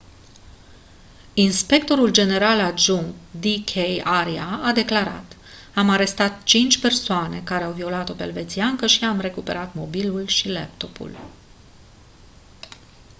inspectorul general adjunct d. k. arya a declarat: «am arestat cinci persoane care au violat-o pe elvețiancă și i-am recuperat mobilul și laptopul».